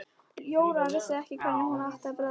Jóra vissi ekki hvernig hún átti að bregðast við.